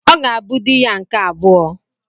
Ọ ga-abụ dị ya nke abụọ.